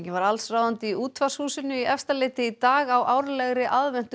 var allsráðandi í Útvarpshúsinu í Efstaleiti í dag á árlegri